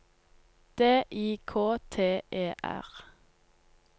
D I K T E R